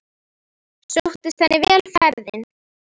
Sóttist henni vel ferðin.